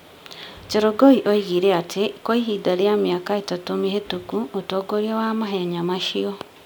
Chelogoi oigire atĩ kwa ihinda rĩa mĩaka ĩtatũ mĩhĩtũku, ũtongoria wa mahenya macio,